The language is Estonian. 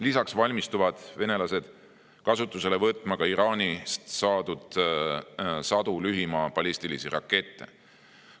Lisaks valmistuvad venelased kasutusele võtma Iraanilt saadud sadu lühimaa ballistilisi rakette.